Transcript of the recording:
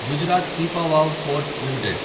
Gujarat Pipavav port limited